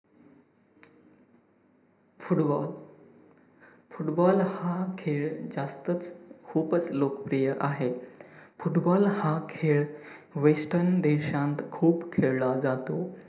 Football football हा खे‌ळ जास्तच खुपच लोकप्रिय आहे. football हा खेळ western देशांत खूप खेळला जातो.